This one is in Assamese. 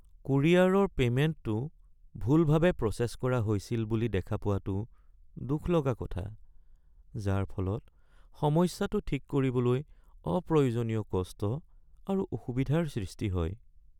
কুৰিয়াৰৰ পে'মেণ্টটো ভুলভাৱে প্ৰচেছ কৰা হৈছিল বুলি দেখা পোৱাটো দুখ লগা কথা, যাৰ ফলত সমস্যাটো ঠিক কৰিবলৈ অপ্ৰয়োজনীয় কষ্ট আৰু অসুবিধাৰ সৃষ্টি হয়।